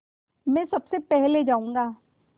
मैं सबसे पहले जाऊँगा